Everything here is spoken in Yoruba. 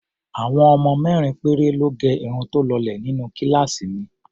Àwọn ọmọ mẹ́rin péré lọ́ gẹ irun tó lọlẹ̀ nínú kíláàsì mi.